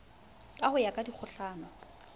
ka ho ya ka dikgohlano